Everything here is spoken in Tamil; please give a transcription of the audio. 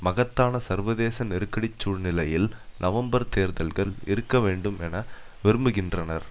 மகத்தான சர்வதேச நெருக்கடிச் சூழ்நிலையில் நவம்பர் தேர்தல்கள் இருக்க வேண்டும் என விரும்புகின்றனர்